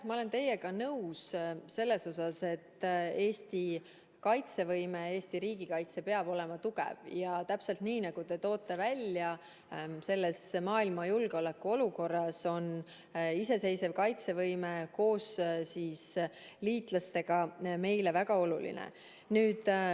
Ma olen teiega nõus selles osas, et Eesti kaitsevõime, Eesti riigikaitse peab olema tugev ja täpselt nii, nagu te välja toote, on praeguses maailma julgeoleku olukorras iseseisev kaitsevõime koos liitlastega meile väga oluline.